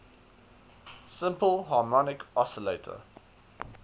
simple harmonic oscillator